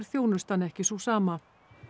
þjónustan ekki sú sama